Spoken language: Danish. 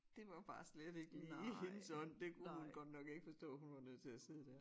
Det var bare slet ikke lige i hendes ånd det kunne hun godt nok ikke forstå hun var nødt til at sidde dér